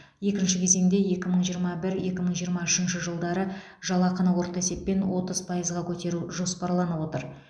екінші кезеңде екі мың жиырма бір екі мың жиырма үшінші жылдары жалақыны орта есеппен отыз пайызға көтеру жоспарланып отыр